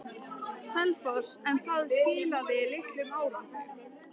Selfossi, en það skilaði litlum árangri.